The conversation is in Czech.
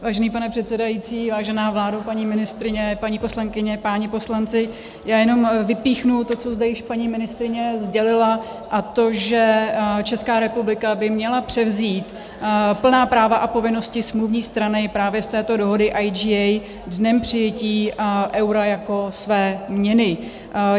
Vážený pane předsedající, vážená vládo, paní ministryně, paní poslankyně, páni poslanci, já jenom vypíchnu to, co zde již paní ministryně sdělila, a to že Česká republika by měla převzít plná práva a povinnosti smluvní strany právě z této dohody IGA dnem přijetí eura jako své měny.